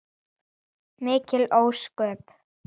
Mikil ósköp.